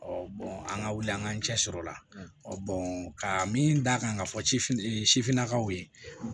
an ka wuli an ka cɛsir'o la ka min d'a kan ka fɔ sifin sifinnakaw ye